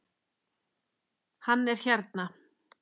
Hann er hérna